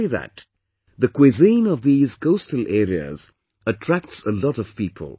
Not only that, the cuisine of these coastal areas attracts a lot of people